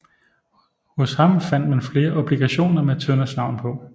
Hos ham fandt man flere obligationer med Tønders navn på